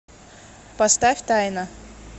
поставь тайна